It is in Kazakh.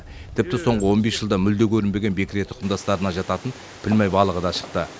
тіпті соңғы он бес жылда мүлде көрінбеген бекіре тұқымдастарына жататын пілмай балығы да шықты